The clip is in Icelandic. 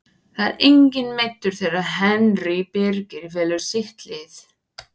Það er enginn meiddur þegar Henry Birgir velur sitt lið.